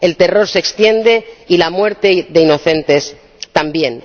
El terror se extiende, y la muerte de inocentes, también.